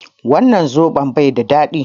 Wannan soɓon baida daɗi